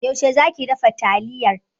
Yaushe za ki dafa taliyar?